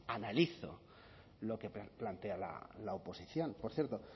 analizo lo que plantea la oposición por cierto